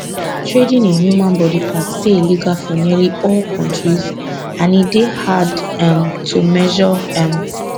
trading in human body parts dey illegal for nearly all kontris and e dey hard um to measure um